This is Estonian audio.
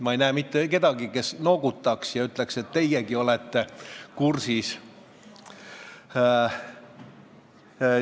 Ma ei näe mitte kedagi, kes noogutaks ja ütleks, et ta on kursis.